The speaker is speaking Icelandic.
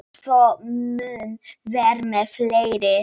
Svo mun vera um fleiri.